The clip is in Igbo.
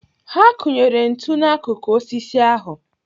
Ha kunyere ntu n'akụkụ osisi ahu.